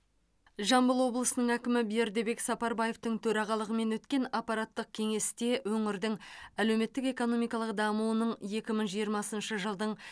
жамбыл облысының әкімі бердібек сапарбаевтың төрағалығымен өткен аппараттық кеңесте өңірдің әлеуметтік экономикалық дамуының екі мың жиырмасыншы жылдың